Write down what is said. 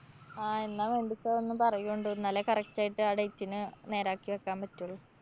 ആ എന്നാ വേണ്ട്ച്ചാ ഒന്നു പറയോണ്ട്. എന്നാലെ correct ആയിട്ട് ആ date ന് നേരാക്കി വക്കാന്‍ പറ്റൊള്ളൂ.